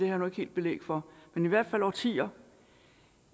jeg nu ikke helt belæg for men i hvert fald årtier